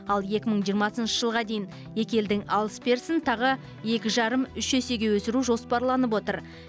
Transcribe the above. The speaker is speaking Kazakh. ал екі мың жиырмасыншы жылға дейін екі елдің алыс берісін тағы екі жарым үш есеге өсіру жоспарланып отыр